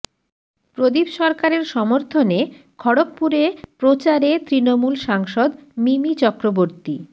প্রদীপ সরকারের সমর্থনে খড়গপুরে প্রচারে তৃণমূল সাংসদ মিমি চক্রবর্তী